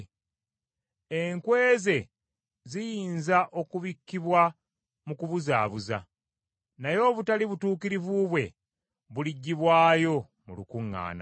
Enkwe ze ziyinza okubikkibwa mu kubuzaabuuza, naye obutali butuukirivu bwe buliggyibwayo mu lukuŋŋaana.